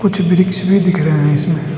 पिछे वृक्ष भी दिख रहा है इसमें।